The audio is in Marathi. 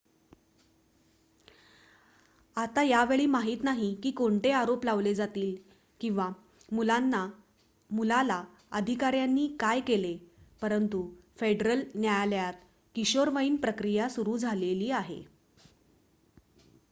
आता यावेळी माहित नाही की कोणते आरोप लावले जातील किंवा मुलाला अधिकाऱ्यांनी काय केले परंतु फेडरल न्यायालयात किशोरवयीन प्रक्रिया सुरु झालेली आहे